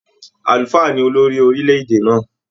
Àlùfáà ni olori orílẹ̀-èdè náà.